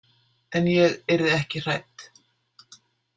En ég yrði ekki hrædd.